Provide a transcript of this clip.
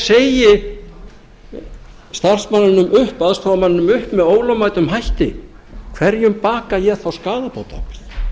segi starfsmanninum upp aðstoðarmanninum upp með ólögmætum hætti hverjum baka ég þá skaðabótaábyrgð